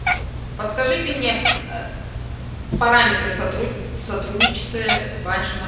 подскажите мне параметры сотрудничества с вашим